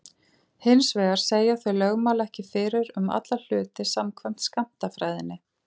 Hins vegar segja þau lögmál ekki fyrir um alla hluti samkvæmt skammtafræðinni.